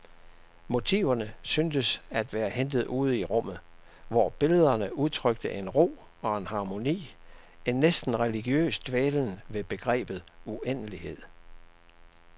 Motiverne syntes at være hentet ude i rummet, hvor billederne udtrykte en ro og en harmoni, en næsten religiøs dvælen ved begrebet uendelighed.